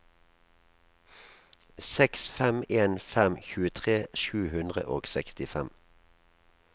seks fem en fem tjuetre sju hundre og sekstifem